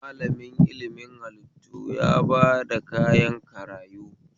Malamin ilimin hallitu ya bada kayan karayu